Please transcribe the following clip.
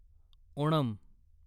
Onam